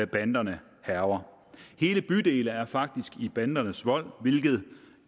banderne hærger hele bydele er faktisk i bandernes vold hvilket